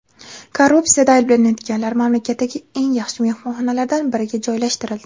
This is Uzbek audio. Korrupsiyada ayblanayotganlar mamlakatdagi eng yaxshi mehmonxonalardan biriga joylashtirildi.